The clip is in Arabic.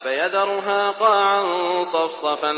فَيَذَرُهَا قَاعًا صَفْصَفًا